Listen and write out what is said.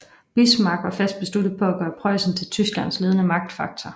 Bismarck var fast besluttet på at gøre Preussen til Tysklands ledende magtfaktor